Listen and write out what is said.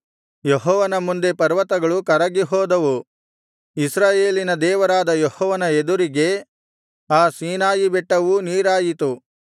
ಯೆಹೋವನ ಮುಂದೆ ಪರ್ವತಗಳು ಕರಗಿಹೋದವು ಇಸ್ರಾಯೇಲಿನ ದೇವರಾದ ಯೆಹೋವನ ಎದುರಿಗೆ ಆ ಸೀನಾಯಿಬೆಟ್ಟವೂ ನೀರಾಯಿತು